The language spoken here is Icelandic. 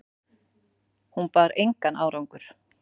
Hún bar engan árangur